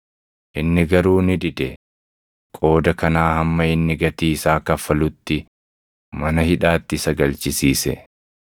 “Inni garuu ni dide; qooda kanaa hamma inni gatii isaa kaffalutti mana hidhaatti isa galchisiise.